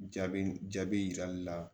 Jaabi jaabi jirali la